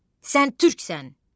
Sən türksən!